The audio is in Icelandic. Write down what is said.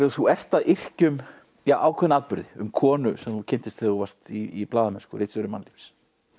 þú ert að yrkja um ákveðna atburði um konu sem þú kynntist þegar þú varst í blaðamennsku ritstjóri mannlífs